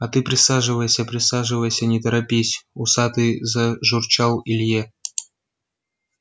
а ты присаживайся присаживайся не торопись усатый зажурчал илье